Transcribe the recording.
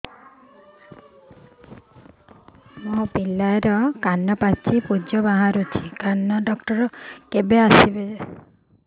ମୋ ପିଲାର କାନ ପାଚି ପୂଜ ବାହାରୁଚି କାନ ଡକ୍ଟର କେବେ ଆସିବେ